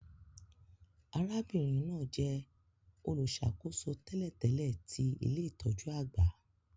Arábìnrin náà jẹ olùṣàkóso tẹ́lẹ̀tẹ́lẹ̀ ti ilé-itọju àgbà